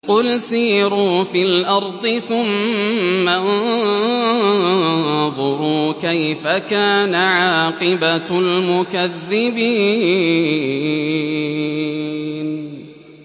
قُلْ سِيرُوا فِي الْأَرْضِ ثُمَّ انظُرُوا كَيْفَ كَانَ عَاقِبَةُ الْمُكَذِّبِينَ